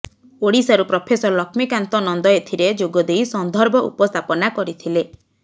ଓଡ଼ିଶାରୁ ପ୍ରଫେସର ଲକ୍ଷ୍ମୀକାନ୍ତ ନନ୍ଦ ଏଥିରେ ଯୋଗଦେଇ ସନ୍ଧର୍ଭ ଉପସ୍ଥାପନା କରିଥିଲେ